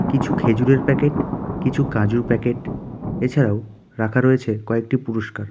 কিছু খেজুরের প্যাকেট কিছু কাজুর প্যাকেট এছাড়াও রাখা রয়েছে কয়েকটি পুরস্কার.